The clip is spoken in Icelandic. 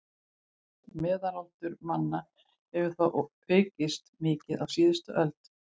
Meðalaldur manna hefur þó aukist mikið á síðustu öld.